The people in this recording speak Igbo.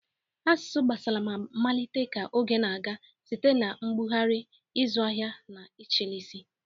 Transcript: Asụsụ agbasala ma malite ka oge na-aga site na mbugharị, ịzụ ahịa, na ịchịisi